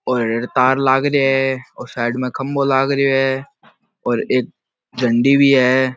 और तार लाग रे है और साइड में खम्बो लाग रेहो है और एक झंडी भी है।